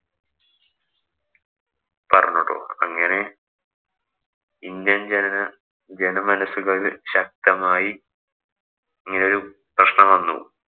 പറഞ്ഞു ട്ടോ. അങ്ങനെ ഇന്ത്യന്‍ ജനത ജനമനസുകളില്‍ ശക്തമായി ഇങ്ങനെ ഒരു പ്രശ്നം വന്നു.